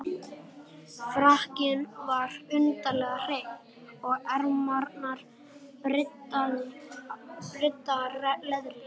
Frakkinn var undarlega hreinn, og ermarnar bryddaðar leðri.